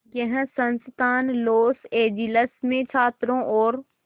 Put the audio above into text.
यह संस्थान Los Angeles में छात्रों और